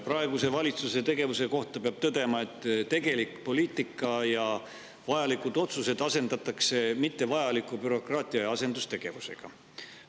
Praeguse valitsuse tegevuse kohta peab tõdema, et tegelik poliitika ja vajalikud otsused asendatakse mittevajaliku bürokraatia ja asendustegevusega.